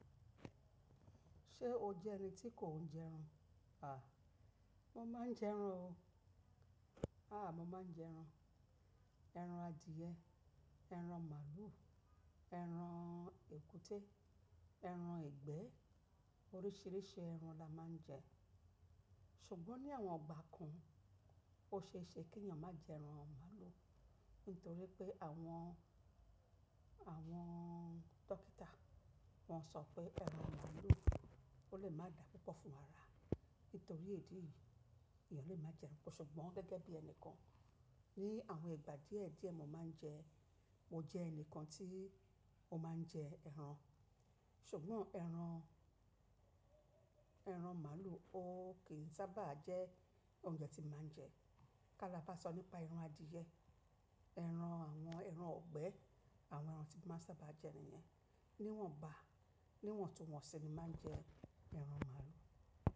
Ṣé o jẹ́ ẹni tí kò ń jẹ ran? À, mo máa ń jẹ ẹran o. À, mo máa ń jẹ ẹran. Ẹran adìẹ, ẹran màlúù, ẹran èkútẹ́, ẹran egbẹ́ oríṣìíríṣìí ẹran la máa ń jẹ. Ṣùgbọ́n ní àwọn ìgbà kan, o ṣe é ṣe kí ènìyàn má jẹ ẹran màlúù nítorí pé àwọn, àwọn-on dókítà wọ́n sọ pé ẹran màlúù o lè má dà púpọ̀ fún ara. Nítorí èyí, ènìyàn lè má jẹ ẹran. Ṣùgbọ́n gẹ́gẹ́ bí ẹni kan ní àwọn ìgbà díẹ̀ díẹ̀ mo máa ń jẹ, mo jẹ ẹni kan tí ó máa ń jẹ ẹran. Ṣùgbọ́n ẹran, ẹran màlúù ó kì sábà jẹ́ oúnjẹ tí mo máa ń jẹ. Ka la bá sọ nípa ẹran adìẹ, ẹran àwọn ẹran ọ̀gbẹ́ àwọn ẹran tí mo sábà máa ń jẹ nìyẹn. Níwọ̀n bá, níwọ̀n tu wọ́n sì ni máa ń jẹ ẹran màlúù.